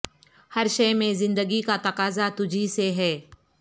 ہر شئے میں زندگی کا تقاضا تجھی سے ہے